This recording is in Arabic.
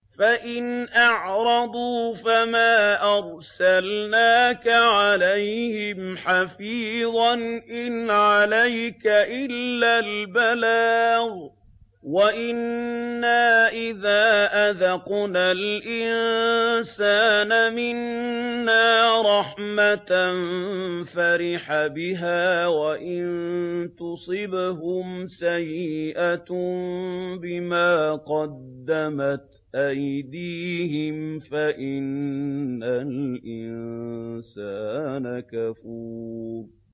فَإِنْ أَعْرَضُوا فَمَا أَرْسَلْنَاكَ عَلَيْهِمْ حَفِيظًا ۖ إِنْ عَلَيْكَ إِلَّا الْبَلَاغُ ۗ وَإِنَّا إِذَا أَذَقْنَا الْإِنسَانَ مِنَّا رَحْمَةً فَرِحَ بِهَا ۖ وَإِن تُصِبْهُمْ سَيِّئَةٌ بِمَا قَدَّمَتْ أَيْدِيهِمْ فَإِنَّ الْإِنسَانَ كَفُورٌ